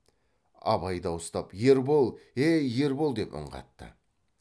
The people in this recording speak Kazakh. абай дауыстап ербол е ей ербол деп үн қатты